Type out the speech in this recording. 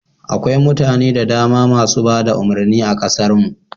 Akwai mutane da dama masu bada umurnin a kasar mu